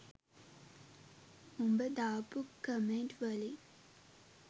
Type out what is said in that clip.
උඹ දාපු කමෙන්ට් වලින්